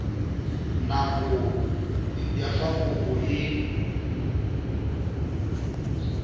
nako ya fa kopo e